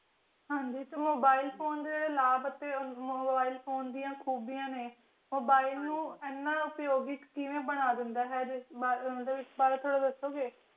ਹਨ ਜੀ ਇਸ mobile phone ਦੀ ਖੂਬੀਆਂ ਨੇ ਜੋ mobile ਨੂੰ ਅਪਯੋਗਿਕ ਚੀਜ਼ ਬਣਾ ਦੇਂਦਾ ਹੈ